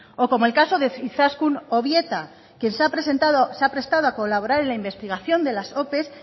o como el caso de izaskun obieta quien se ha prestado a colaborar en la investigación de las ope